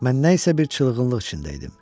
Mən nə isə bir çılğınlıq içində idim.